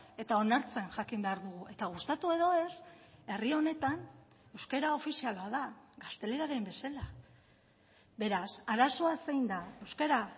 eta onartzen jakin behar dugu eta gustatu edo ez herri honetan euskara ofiziala da gazteleraren bezala beraz arazoa zein da euskara